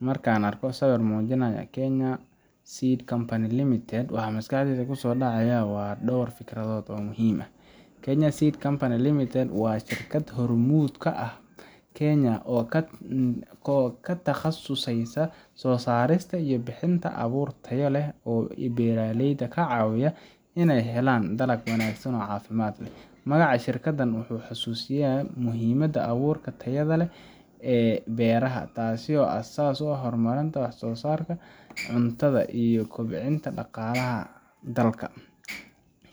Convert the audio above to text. Markaan arko sawirka muujinaya Kenya Seed Company Limited, waxa maskaxdayda ku soo dhacaya dhowr fikradood oo muhiim ah. Kenya Seed Company Limited, waa shirkad hormuud ka ah Kenya oo ku takhasustay soo saarista iyo bixinta abuur tayo sare leh oo beeralayda ka caawiya inay helaan dalag wanaagsan oo caafimaad qaba. Magaca shirkaddan wuxuu xasuusinayaa muhiimada abuurka tayada leh ee beeraha, taasoo aasaas u ah horumarinta wax soosaarka cuntada iyo kobcinta dhaqaalaha dalka.